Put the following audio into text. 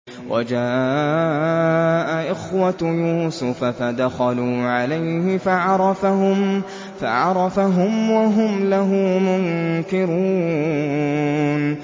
وَجَاءَ إِخْوَةُ يُوسُفَ فَدَخَلُوا عَلَيْهِ فَعَرَفَهُمْ وَهُمْ لَهُ مُنكِرُونَ